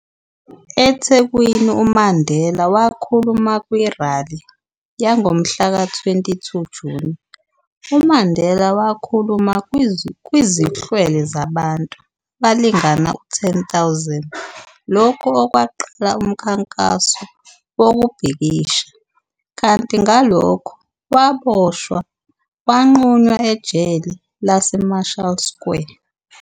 EThekwini, uMandela wakhuluma kwirali yangomhla ka 22 Juni, uMandela wakhuluma kwizihlwele zabantu abalingana u 10 000, lokhu okwaqala umkhankaso wokubhikisha, kanti ngalokho waboshwa wagqunywa ejele laseMarshall Square.